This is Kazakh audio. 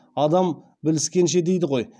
адам біліскенше дейді ғой